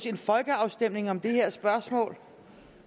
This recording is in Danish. en folkeafstemning om det her spørgsmål